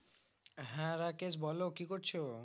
হ্যাঁ রাকেশ বলো কি করছো